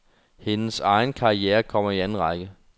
Hendes egen karriere kommer i anden række.